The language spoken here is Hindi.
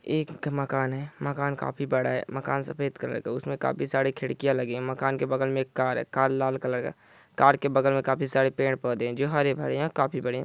एक मकान है मकान काफी बड़ा है मकान सफेद कलर का उसमे काफी सारे खिड़किया है मकान के बगल मे एक कार है कार लाल कलर का कार के बगल मे काफी सारे पैर -पौधे है जो हरे-भरे है काफी बड़े है ।